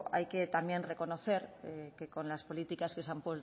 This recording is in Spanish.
hay que también reconocer que con las políticas que se han